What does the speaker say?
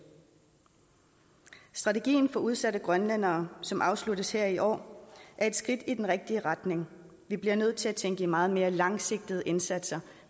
strategien for udsatte grønlændere som afsluttes her i år er et skridt i den rigtige retning vi bliver nødt til at tænke i meget mere langsigtede indsatser